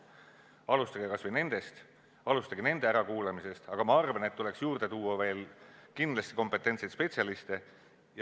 Alustage kas või nendest, alustage nende ärakuulamisest, aga ma arvan, et tuleks juurde tuua veel kindlasti kompetentseid spetsialiste.